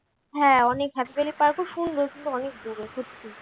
হ্যাঁ park টাও সুন্দর কিন্তু অনেক দূরে সত্যি।